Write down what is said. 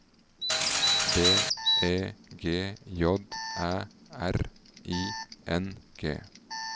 B E G J Æ R I N G